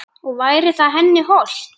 Og væri það henni hollt?